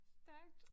Stærkt